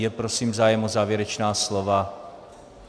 Je prosím zájem o závěrečná slova?